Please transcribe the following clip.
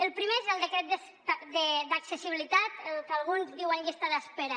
el primer és el decret d’accessibilitat que alguns en diuen llista d’espera